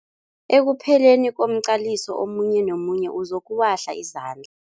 Ekupheleni komqaliso omunye nomunye uzokuwahla izand